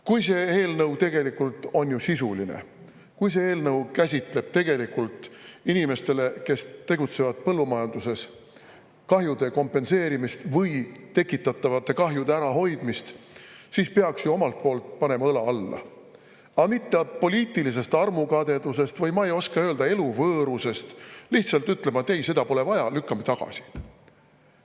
Kui see eelnõu tegelikult on sisuline, kui see eelnõu käsitleb tegelikult kahjude kompenseerimist inimestele, kes tegutsevad põllumajanduses, või tekitatavate kahjude ärahoidmist, siis peaks ju omalt poolt panema õla alla, mitte poliitilisest armukadedusest või, ma ei oska öelda, eluvõõrusest lihtsalt ütlema, et ei, seda pole vaja, lükkame tagasi.